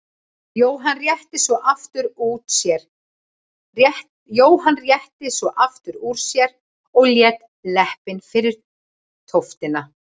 Jóhann rétti svo aftur úr sér og lét leppinn fyrir tóftina.